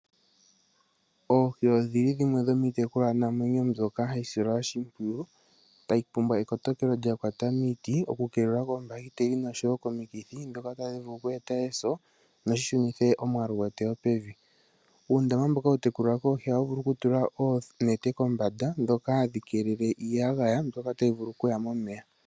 Oohi odhili dhimwe yomiitekulwa namwenyo mbyoka hayi silwa oshipyiwu, tayi pumbwa ekotokelo lya kwata miiti oku kelelwa koombaketeli noshoyo komikithi dhika tadhi vulu oku eta eso nosho shunithe omwaalu pevi. Uundama mboka hawu tekulilwa eeshi ohawi vulu woo oku tulwa onete kombanda mboka hawu kelele iiyagaya mbyoka tayi vulu okuya momeya.